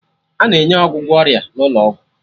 A na-enye ọgwụgwọ ọrịa n'ụlọ ọgwụ